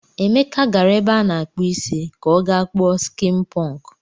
Emeka gara ebe a na-akpụ isi ka ọ gaa kpuo skịn pụnkụ.